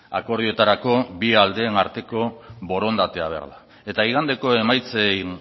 akordioetarako bi aldeen arteko borondatea behar da eta igandeko emaitzen